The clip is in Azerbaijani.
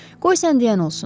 Qoy sən deyən olsun.